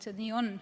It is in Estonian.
See nii on.